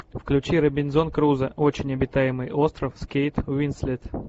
включи робинзон крузо очень обитаемый остров с кейт уинслет